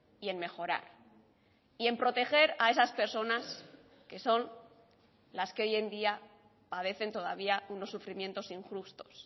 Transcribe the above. y en mejorar y en proteger a esas personas que son las que hoy en día padecen todavía unos sufrimientos injustos